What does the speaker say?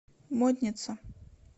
модница